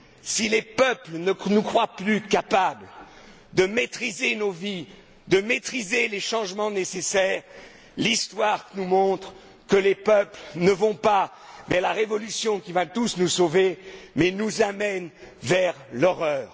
Si les peuples ne nous croient plus capables de maîtriser nos vies, de maîtriser les changements nécessaires, l'histoire nous montre que les peuples ne vont pas vers la révolution qui va tous nous sauver mais nous amènent vers l'horreur.